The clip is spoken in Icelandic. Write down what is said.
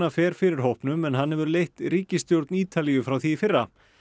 fer fyrir hópnum en hann hefur leitt ríkisstjórn Ítalíu frá því í fyrra